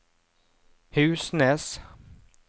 Husnes